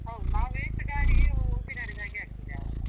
ಹೌದು, ನಾವು waste ಗಾಳಿಗೆ ಉಸಿರಾಡಿದಾಗೆ ಆಗ್ತದೆ ಆವಾಗ.